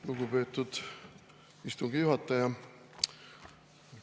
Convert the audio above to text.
Lugupeetud istungi juhataja!